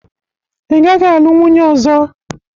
Ị gaghị alụ nwunye ọzọ!